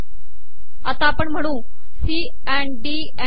आपण आता महणू सीडी ई